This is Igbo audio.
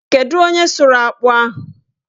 Kedu onye sụrụ akpụ ahụ?